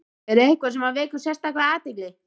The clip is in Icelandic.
Er eitthvað sem vekur sérstaka athygli?